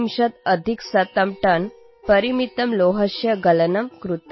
१३४टनपरिमितस्य लौहस्य गलनं कृतम्